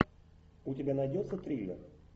у тебя найдется триллер